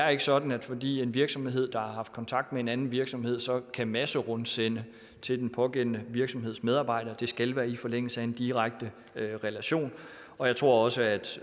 er sådan at fordi en virksomhed har haft kontakt med en anden virksomhed så kan den masserundsende til den pågældende virksomheds medarbejdere det skal være i forlængelse af en direkte relation og jeg tror også at